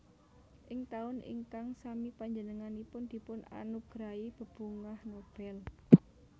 Ing taun ingkang sami panjenenganipun dipun anugerahi bebungah Nobel